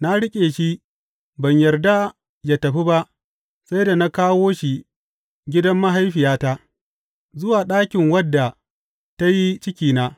Na riƙe shi, ban yarda yă tafi ba sai da na kawo shi gidan mahaifiyata, zuwa ɗakin wadda ta yi cikina.